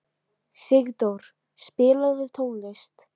Sigdór, spilaðu tónlist.